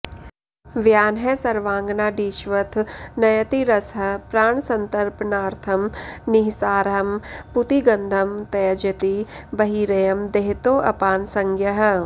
व्यानः सर्वाङ्गनाडीष्वथ नयति रसं प्राणसंतर्पणार्थं निःसारं पूतिगन्धं त्यजति बहिरयं देहतोऽपानसंज्ञः